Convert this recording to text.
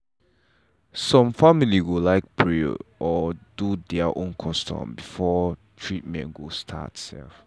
some family go like pray or do their own custom before treatment go start.